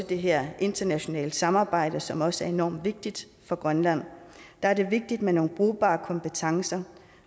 det her internationale samarbejde som også er enormt vigtigt for grønland er det vigtigt med nogle brugbare kompetencer